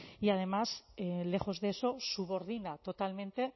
y además lejos de eso subordina totalmente